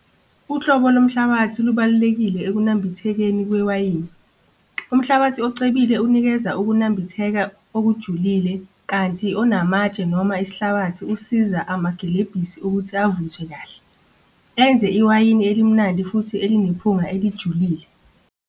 Uhlobo lomhlabathi lubalulekile ekunambithekeni kwewayini. Umhlabathi ocebile unikeza ukunambitheka okujulile kanti onamatshe noma isihlabathi usiza amagilebhisi ukuthi avuthwe kahle. Enze iwayini elimnandi futhi belinephutha elijulile.